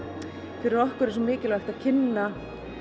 fyrir okkur er svo mikilvægt að kynna